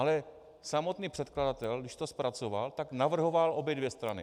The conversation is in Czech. Ale samotný předkladatel, když to zpracoval, tak navrhoval obě dvě strany.